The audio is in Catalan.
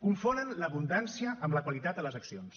confonen l’abundància amb la qualitat de les accions